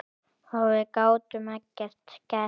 Og við gátum ekkert gert.